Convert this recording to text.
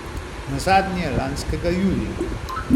Nazadnje lanskega julija.